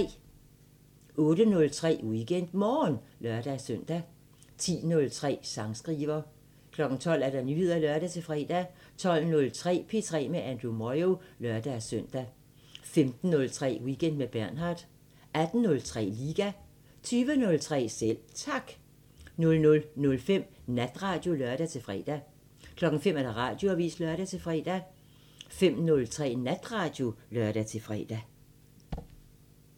08:03: WeekendMorgen (lør-søn) 10:03: Sangskriver 12:00: Nyheder (lør-fre) 12:03: P3 med Andrew Moyo (lør-søn) 15:03: Weekend med Bernhard 18:03: Liga 20:03: Selv Tak 00:05: Natradio (lør-fre) 05:00: Radioavisen (lør-fre) 05:03: Natradio (lør-fre)